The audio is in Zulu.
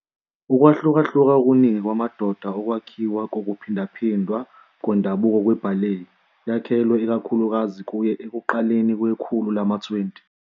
Ukwahlukahluka okuningi kwamadoda okwakhiwa kokuphindaphindwa kwendabuko kwe-ballet yakhelwe ikakhulukazi kuye ekuqaleni kwekhulu lama-20.